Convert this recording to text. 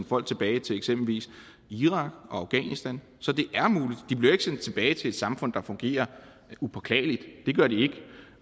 folk tilbage til eksempelvis irak og afghanistan så det de bliver ikke sendt tilbage til et samfund der fungerer upåklageligt det gør de ikke